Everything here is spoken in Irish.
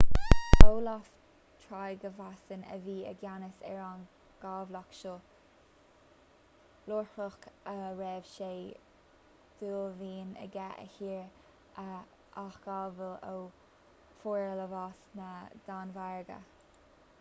olaf trygvasson a bhí i gceannas ar an gcabhlach seo ioruach a raibh sé d'uaillmhian aige a thír a athghabháil ó fhorlámhas na danmhairge